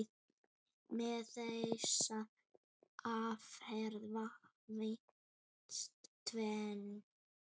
Með þessari aðferð vannst tvennt.